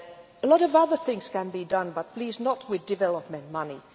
A lot of other things can be done but, please, not with development money.